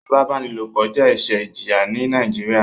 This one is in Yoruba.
Ifipabanilopo jẹ ẹṣẹ ìjìyà ní nàìjíría